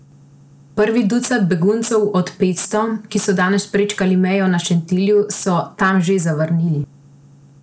Prvih ducat beguncev od petsto, ki so danes prečkali mejo na Šentilju, so tam že zavrnili.